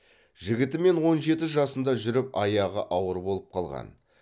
жігітімен он жеті жасында жүріп аяғы ауыр болып қалған